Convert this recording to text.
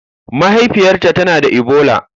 Mahaifiyarta tana da Ebola.